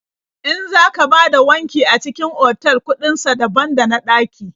In za ka bada wanki a cikin otal kuɗin sa daban da na ɗaƙi.